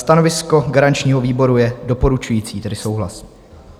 Stanovisko garančního výboru je doporučující, tedy souhlas.